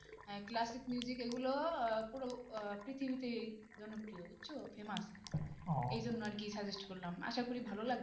আহ classic এগুলো আহ পুরো আহ পৃথিবীতেই জনপ্রিয় বুঝছো famous এইজন্য আর কি suggest করলাম, আশা করি ভালো লাগবে